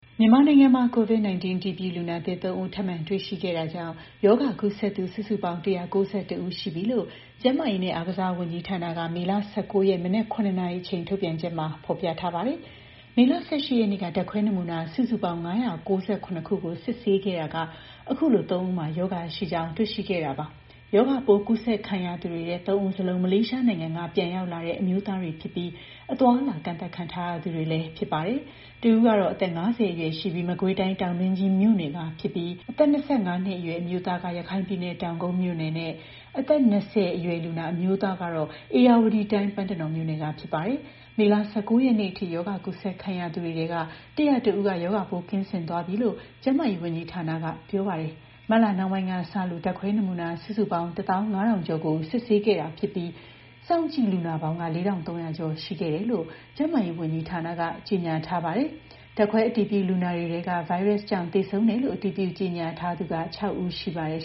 မြန်မာနိုင်ငံမှာ COVID-19 အတည်ပြု လူနာသစ် ၃ ဦး ထပ်မံ တွေ့ရှိခဲ့တာကြောင့် ရောဂါ ကူးစက်သူ စုစုပေါင်း ၁၉၁ ဦး ရှိပြီလို့ ကျန်းမာရေးနဲ့ အားကစားဝန်ကြီးဌာနက မေလ ၁၉ ရက် မနက် ၇ နာရီအချိန် ထုတ်ပြန်ချက်မှာ ဖော်ပြထားပါတယ်။ မေလ ၁၈ ရက်နေ့က ဓါတ်ခွဲနမူနာ စုစုပေါင်း ၅၉၇ ကို စစ်ဆေးခဲ့ရာက အခုလို ၃ ဦးမှာ ရောဂါရှိကြောင်း တွေ့ရှိခဲ့တာပါ။ ရောဂါပိုး ကူးစက်ခံရသူတွေထဲ ၃ ဦး စလုံး မလေးရှားနိုင်ငံက ပြန်ရောက်လာသူ အမျိုးသားတွေဖြစ်ပြီး အသွားအလာ ကန့်သတ်ခံထားရသူတွေလည်း ဖြစ်ပါတယ်။ တစ်ဦးက အသက် ၅၀ အရွယ်ရှိပြီး မကွေးတိုင်း တောင်တွင်းကြီးမြို့နယ်ကဖြစ်ပြီး အသက် ၂၅ အရွယ် အမျိုးသားက ရခိုင်ပြည်နယ် တောင်ကုတ်မြို့နယ်ကနဲ့ အသက် ၂၀ နှစ်အရွယ် အမျိုးသားက ဧရာဝတီတိုင်း ပန်းတနော်မြို့နယ်က ဖြစ်ပါတယ်။ မေလ ၁၉ ရက်နေ့အထိ ရောဂါ ကူးစက်ခံရသူတွေထဲက ၁၀၁ ဦးက ရောဂါပိုးကင်းစင်သွားပြီလို့လည်း ကျန်းမာရေးဝန်ကြီးဌာနက ပြောပါတယ်။ မတ်လနှောင်းပိုင်းကစလို့ ဓါတ်ခွဲ နမူနာ စုစုပေါင်း ၁၅,၀၀၀ ကျော်ကို စစ်ဆေးခဲ့တာဖြစ်ပြီး စောင့်ကြည့်လူနာပေါင်းက ၄,၃၀၀ ကျော် ရှိခဲ့တယ်လို့ ကျန်းမာရေး ဝန်ကြီးဌာနက ကြေညာထားပါတယ်။ ဓါတ်ခွဲ အတည်ပြုလူနာတွေထဲက ဗိုင်းရပ်စ်ကြောင့် သေဆုံးတယ်လို့ အတည်ပြု ကြေညာထားသူက ၆ ဦး ရှိပါတယ်